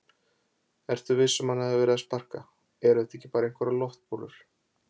Ertu viss um að hann hafi verið að sparka. eru þetta ekki bara einhverjar loftbólur?